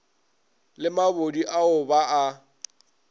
le mabodi ao ba a